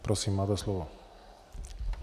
Prosím, máte slovo.